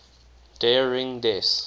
der ring des